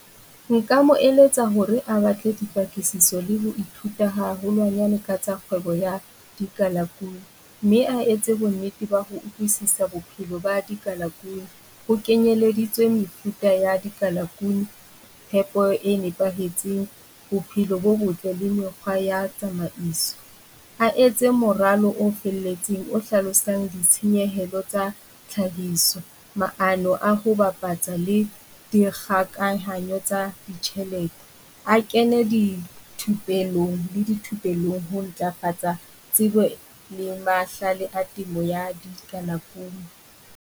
Nka mo eletsa hore a batle dipakisiso le bothata haholwanyane ka tsa kgwebo ya dikalaku, mme a etse bonnete ba ho utlwisisa bophelo ba di kalaku. Ho kenyeleditswe mefuta ya di kalakuni Tshepo e nepahetseng bophelo bo botle le mekgwa ya Tsamaiso. A etse moralo o felletseng o hlalosang ditshenyehelo tsa tlhahiso. Maano a ho bapatsa tsa le dikgakahanyo tsa ditjhelete, a kene dithupelong le di thupelong ho ntlafatsa tsebo le mahlale a temo ya dikalakuni.